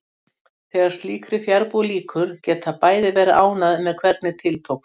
Þegar slíkri fjarbúð lýkur geta bæði verið ánægð með hvernig til tókst.